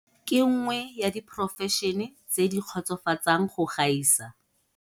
Ke nngwe ya diporofešene tse di kgotsofatsang go gaisa.